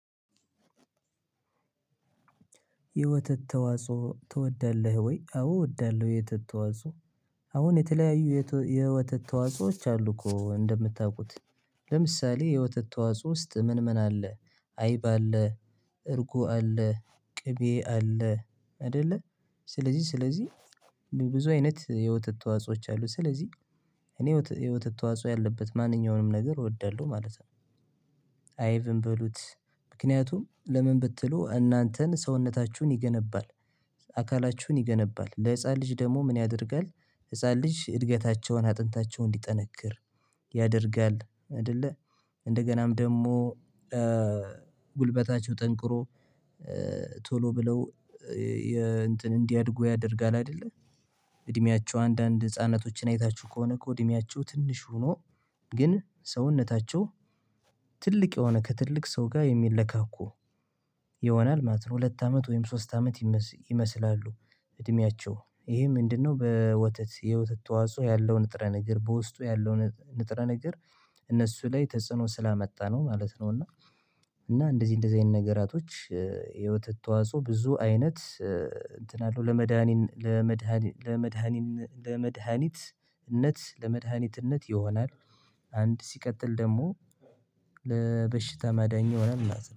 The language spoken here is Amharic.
የወተት ተዋጽኦ ትወዳለህ ወይ? አዎ እወዳለሁ። የወተት ተዋጽኦ። አሁን የተለያዩ የወተት ተዋጽኦዎች አሉ እኮ እንደምታውቁት ለምሳሌ የወተት ተዋጽኦ ውስጥ ምን ምን አለ? አይብ አለ። እርጎ አለ። ቅቤ አለ አይደለ። ስለዚህ ስለዚህ ብዙ አይነት የወተት ተዋጾዎች አሉ። ስለዚህ እኔ የወተት ተዋጽኦ ያለበት ማንኛውንም ነገር እወዳለሁ ማለት ነው። አይቭም በሉት ምክንያቱም ለምን ብትሉ እናንተን ሰውነታችሁን ይገነባል። አካላችሁን ይገነባል ለህፃን ልጅ ደግሞ ምን ያደርጋል? ህፃን ልጅ እድገታቸውን አጥንታቸውን እንዲጠነክር ያደርጋል አይደለ። እንደገናም ደግሞ ጉልበታቸው ጠንክሮ ቶሎ ብለው እንትን እንዲያድጉ ያደርጋል አይደለ። እድሜያቸው አንዳንድ ህፃናቶችን አይታችሁ ከሆነ እኮ እድሜያቸው ትንሽ ሆኖ ግን ሰውነታቸው ትልቅ የሆነ ከትልቅ ሰው ጋር የሚለካኩ ይሆናል ማለት ነው። ሁለት አመት ወይም ሶስት አመት ይመስላሉ እድሜያቸው ይሄ ምንድነው? በወተት የወተት ተዋጽኦ ያለው ንጥረ ነገር በውስጡ ያለው ንጥረ ነገር እነሱ ላይ ተጽዕኖ ስላመጣ ነው ማለት ነው። እና እንደዚህ እንደዚህ አይነት ነገራቶች የወተት ተዋጾኦ ብዙ አይነት እንትን አለው ለመዳኒት ለመድኃኒትነት ለመድኃኒትነት ይሆናል። አንድ ሲቀጥል ደግሞ ለበሽታ መዳኝ ይሆናል ማለት ነው